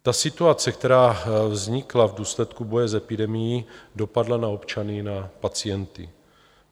Ta situace, která vznikla v důsledku boje s epidemií, dopadla na občany, na pacienty.